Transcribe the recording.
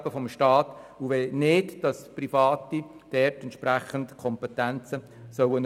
Wir wollen nicht, dass Private entsprechende Kompetenzen erhalten.